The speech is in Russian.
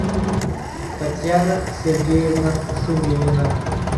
татьяна сергеевна шумилина